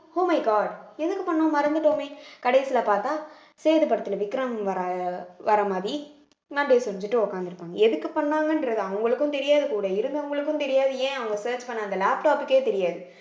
oh my god எதுக்கு பண்ணோம் மறந்துட்டோமே கடைசியிலே பார்த்தா சேது படத்திலே விக்ரம் வர வர மாதிரி அதே செஞ்சுட்டு உட்கார்ந்திருப்பாங்க எதுக்கு பண்ணாங்கன்றது அவங்களுக்கும் தெரியாது கூட இருந்தவங்களுக்கும் தெரியாது ஏன் அவங்க search பண்ண அந்த laptop க்கே தெரியாது